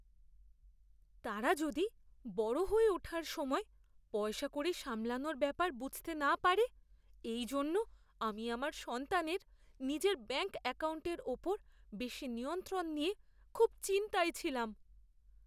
তারা যদি বড় হয়ে ওঠার সময় পয়সাকড়ি সামলানোর ব্যাপার বুঝতে না পারে, এই জন্য আমি আমার সন্তানের নিজের ব্যাঙ্ক অ্যাকাউন্টের উপর বেশী নিয়ন্ত্রণ নিয়ে খুব চিন্তায় ছিলাম।